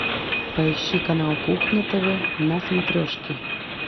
поищи канал кухня тв на смотрешке